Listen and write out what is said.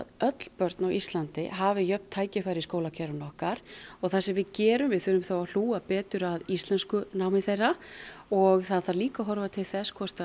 öll börn á Íslandi hafi jöfn tækifæri í skólakerfinu okkar og það sem við gerum við þurfum þá að hlúa betur að íslenskunámi þeirra og það þarf líka að horfa til þess hvort